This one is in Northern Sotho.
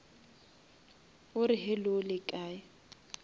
o re hello le kae